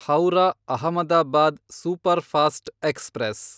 Howrah Ahmedabad superfast express